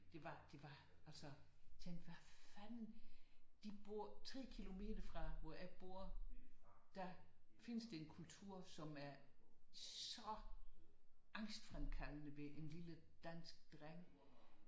Det var det var altså jeg tænkte hvad fanden de bor 3 kilometer fra hvor jeg bor der findes den kultur som er så angstfremkaldende ved en lille dansk dreng